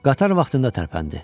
Qatar vaxtında tərpəndi.